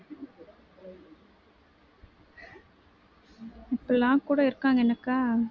இப்டிலாம் கூட இருக்காங்க என்னக்கா